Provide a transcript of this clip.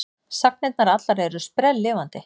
Sagnirnar allar eru sprelllifandi.